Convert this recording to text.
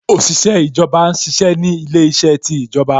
Òṣìṣẹ́ ìjọba ṣiṣẹ́ ni ilé iṣẹ́ ti ìjọba